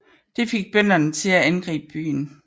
Det fik bønderne til at angribe byen